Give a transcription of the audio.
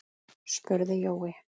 spurði Jói.